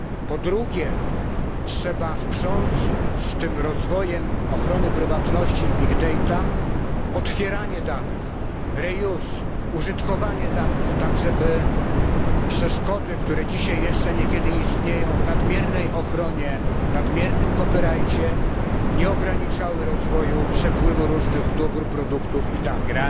Po drugie, trzeba sprząc z tym rozwojem ochrony prywatności i dużych zbiorów danych otwieranie danych, ponowne użytkowanie oraz użytkowanie danych, tak żeby przeszkody, które dzisiaj jeszcze niekiedy istnieją w nadmiernej ochronie, nadmiernych prawach autorskich, nie ograniczały rozwoju, przepływu różnych dóbr, produktów i danych.